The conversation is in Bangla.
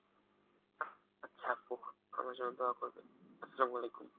আচ্ছা আপু আমার জন্য দোয়া করবেন, আস্সালাম আলিকুম।